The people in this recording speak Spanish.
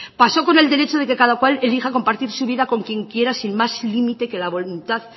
pasó con el derecho de que cada cual elija compartir su vida con quien quiera sin más límite que la voluntad